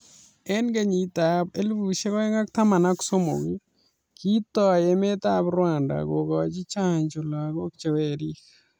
Eng kenyit ab 2013 kii toii emet ab rwanda kogochii chaanjo lagok che werik